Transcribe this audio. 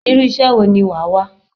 Irú iṣẹ́ wo ni wàá wá?